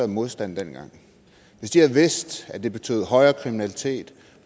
modstand dengang hvis de havde vidst at det betyder højere kriminalitet